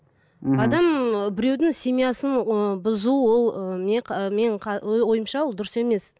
мхм адам ы біреудің семьясын ы бұзу ол ы менің ойымша ол дұрыс емес